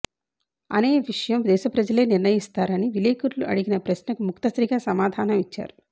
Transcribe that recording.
అనే విషయం దేశప్రజలే నిర్ణయిస్తా రని విలేకరులుఅడిగినప్రశ్నకు ముక్తసరిగా సమా ధానం ఇచ్చారు